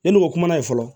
Ne n'o kumana yen fɔlɔ